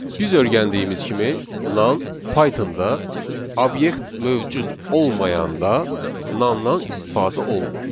Biz öyrəndiyimiz kimi nan Python-da obyekt mövcud olmayanda nandan istifadə olunur.